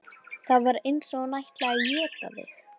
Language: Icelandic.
Það var eins og hún ætlaði að éta þig.